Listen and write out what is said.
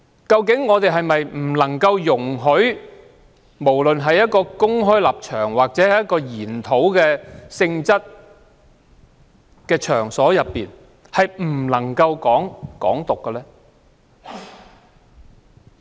究竟是否不能容許任何人在公開場合或研討性質的場合討論"港獨"？